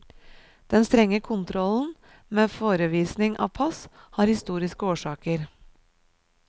Den strenge kontrollen, med forevisning av pass, har historiske årsaker.